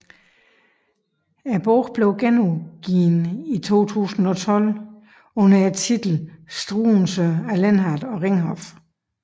Bogen blev genudgivet i 2012 under titlen Struensee af Lindhardt og Ringhof